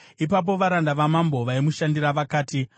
Ipapo varanda vamambo vaimushandira vakati,